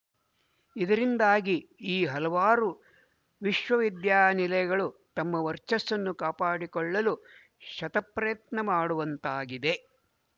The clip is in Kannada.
ಇದರಿಂದಾಗಿ ಈ ಹಲವಾರು ವಿಶವವಿದ್ಯಾನಿಲಯಗಳು ತಮ್ಮ ವರ್ಚಸ್ಸನ್ನು ಕಾಪಾಡಿಕೊಳ್ಳಲು ಶತಪ್ರಯತ್ನಮಾಡುವಂತಾಗಿದೆ